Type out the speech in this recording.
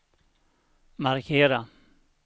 markera